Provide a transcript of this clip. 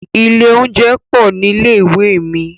Ilé oúnjẹ pọ̀ nílé ìwé mi.